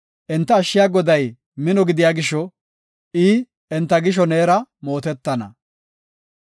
Enta ashshiya Goday mino gidiya gisho; i, enta gisho neera mootetana.